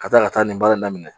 Ka taa ka taa nin baara in daminɛ